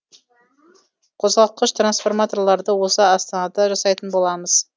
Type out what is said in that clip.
қозғалтқыш трансформаторларды осы астанада жасайтын боламыз